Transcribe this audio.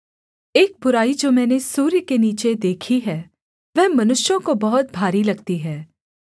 एक बुराई जो मैंने सूर्य के नीचे देखी है वह मनुष्यों को बहुत भारी लगती है